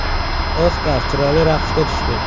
Oskar chiroyli raqsga tushdi.